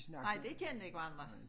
Nej de kendte ikke hverandre